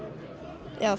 eða